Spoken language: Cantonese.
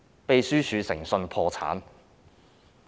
秘書處已經誠信破產。